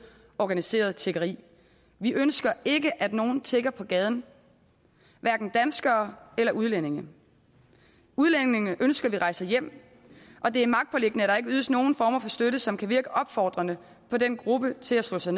organiseret tiggeri vi ønsker ikke at nogle tigger på gaden hverken danskere eller udlændinge udlændingene ønsker vi rejser hjem og det er magtpåliggende at der ikke ydes nogen former for støtte som kan virke opfordrende på den gruppe til at slå sig